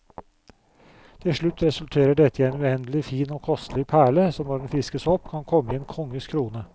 Til slutt resulterer dette i en uendelig fin og kostelig perle, som når den fiskes opp kan komme i en konges krone.